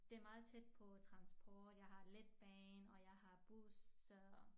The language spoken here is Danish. Det meget tæt på transport jeg har letbane og jeg har bus